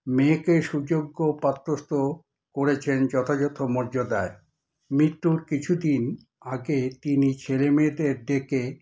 মেয়েকে সুযোগ্য পাত্রস্থ করেছেন যথাযথ মর্যাদায়। মৃত্যুর কিছুদিন আগে তিনি ছেলে-মেয়েদের ডেকে